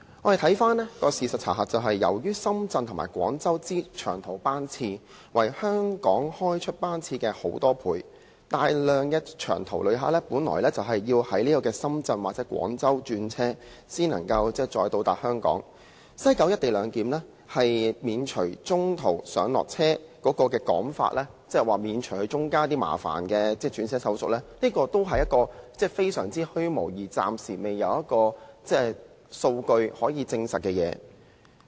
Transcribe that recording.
但是，事實的查核是，由於深圳和廣州的長途班次，是香港開出班次的很多倍，大量長途旅客本應在深圳或廣州轉車，才可以抵達香港，而西九"一地兩檢"免除中途上落車的說法，即可以免除中間一些麻煩的轉車手續，這其實也是一個相當虛無，而且暫時沒有數據證實的說法。